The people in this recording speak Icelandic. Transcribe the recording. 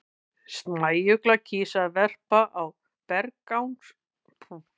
Snæuglan kýs að verpa á berangurslegum svæðum þar sem útsýni er gott.